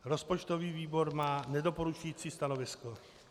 Rozpočtový výbor má nedoporučující stanovisko.